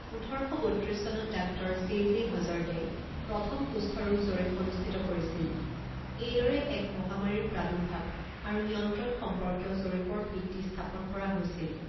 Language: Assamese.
ওঠৰ শ বত্ৰিছ চনত ডাক্টৰ জে জে হজ'ৰ্টে প্ৰথম কুষ্ঠৰোগ জৰীপ অনুষ্ঠিত কৰিছিল, এইদৰে এক মহামাৰীৰ প্ৰাদুৰ্ভাৱ আৰু নিয়ন্ত্ৰণ সম্পৰ্কীয় জৰীপৰ ভিত্তি স্থাপন কৰা হৈছিল।